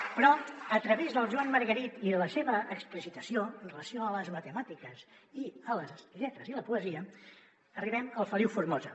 ) però a través del joan margarit i de la seva explicitació amb relació a les matemàtiques i a les lletres i la poesia arribem al feliu formosa